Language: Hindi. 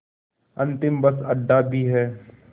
अंतिम बस अड्डा भी है